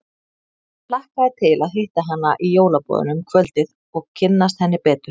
Hann hlakkaði til að hitta hana í jólaboðinu um kvöldið og kynnast henni betur.